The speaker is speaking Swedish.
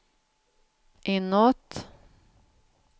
inåt